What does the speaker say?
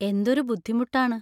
എന്തൊരു ബുദ്ധിമുട്ടാണ്.